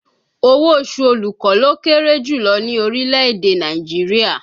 Owó oṣù olùkọ́ ló kéré jù lọ ní orílẹ̀ èdè Nàìjíríà